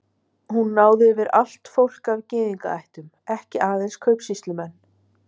Hún náði yfir allt fólk af gyðingaættum, ekki aðeins kaupsýslumenn.